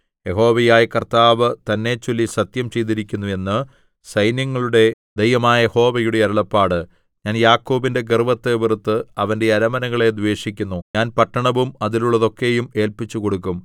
യഹോവയായ കർത്താവ് തന്നെച്ചൊല്ലി സത്യം ചെയ്തിരിക്കുന്നു എന്ന് സൈന്യങ്ങളുടെ ദൈവമായ യഹോവയുടെ അരുളപ്പാട് ഞാൻ യാക്കോബിന്റെ ഗർവ്വത്തെ വെറുത്ത് അവന്റെ അരമനകളെ ദ്വേഷിക്കുന്നു ഞാൻ പട്ടണവും അതിലുള്ളതൊക്കെയും ഏല്പിച്ചുകൊടുക്കും